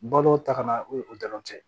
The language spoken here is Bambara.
Balo taga o ye o dɔrɔn tɛ